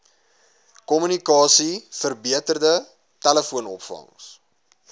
kommunikasie verbeterde telefoonopvangs